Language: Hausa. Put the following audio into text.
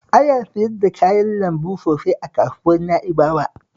Aya siyar da kayan lambu sosai a kasuwar Na'ibawa